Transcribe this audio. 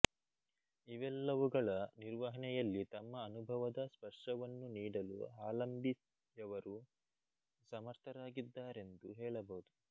ಇವೆಲ್ಲವುಗಳ ನಿರ್ವಹಣೆಯಲ್ಲಿ ತಮ್ಮ ಅನುಭವದ ಸ್ಪರ್ಶವನ್ನು ನೀಡಲು ಹಾಲಂಬಿಯವರು ಸಮರ್ಥರಾಗಿದ್ದಾರೆಂದು ಹೇಳಬಹುದು